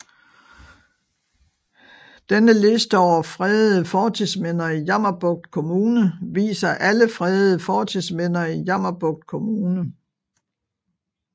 Denne liste over fredede fortidsminder i Jammerbugt Kommune viser alle fredede fortidsminder i Jammerbugt Kommune